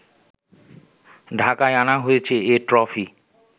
ঢাকায় আনা হয়েছে এ ট্রফি